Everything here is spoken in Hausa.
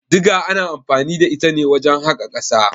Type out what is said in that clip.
Diga ana anfani da ita ne wajen haƙa ƙasa.